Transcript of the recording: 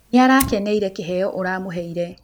Nĩarakenereĩre kĩheo ũramũheire.